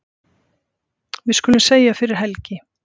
Við skulum segja fyrir helgi.